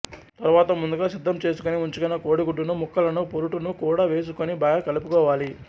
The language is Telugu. తరువాత ముందుగా సిద్ధం చేసుకొని ఉంచుకొన్న కోడి గుడ్డు ముక్కలను పొరుటు ను కూడా వేసుకొని బాగా కలుపుకోవాలి